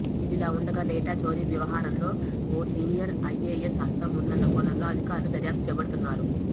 ఇదిలావుండగా డేటా చోరీ వ్యవహారంలో ఓ సీనియర్ ఐఎఎస్ హస్తం ఉందన్న కోణంలో అధికారులు దర్యాప్తు చేపడుతున్నారు